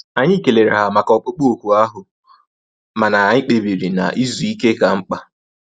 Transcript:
Anyị kelere ha maka ọkpụkpụ òkù ahụ mana anyị kpebiri na izu ike ka mkpa